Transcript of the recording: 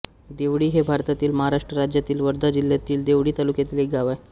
देवळी हे भारतातील महाराष्ट्र राज्यातील वर्धा जिल्ह्यातील देवळी तालुक्यातील एक गाव आहे